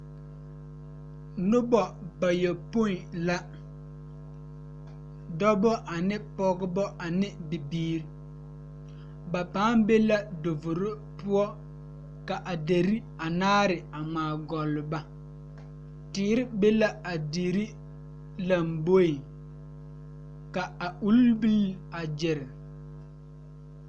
Noba gyamaa la zeŋ die poɔ ka vūūnee uri a nyɛne a die kyɛ kaa die takoe meŋ e kyaane kaa dendɔɛ mine meŋ a e kyaane.